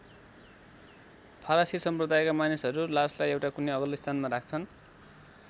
फारसी सम्प्रदायका मानिसहरू लासलाई एउटा कुनै अग्लो स्थानमा राख्छन्।